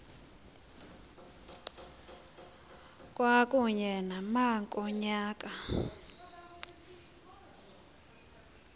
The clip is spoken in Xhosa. kwakunye nama ngonyaka